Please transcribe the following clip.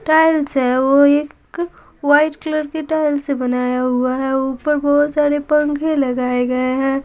Tiles है वो एक वाइट कलर के टाइल्स से बनाया हुआ है ऊपर बहुत सारे पंखे लगाए गए हैं।